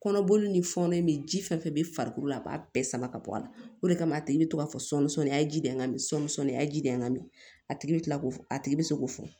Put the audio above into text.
Kɔnɔboli ni fɔnɔ in ji fɛn fɛn bɛ farikolo la a b'a bɛɛ sama ka bɔ a la o de kama a tigi bɛ to k'a fɔ sɔmi sɔnni a ye ji de n ka sɔmi sɔ ni a ye ji de n ka mi a tigi bɛ kila k'o fɔ a tigi bɛ se k'o fɔ